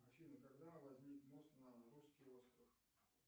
афина когда возник мост на русский остров